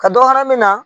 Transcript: Ka dɔ fara mina